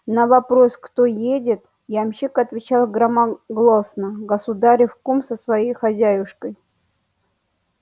на вопрос кто едет ямщик отвечал громогласно государев кум со своею хозяюшкою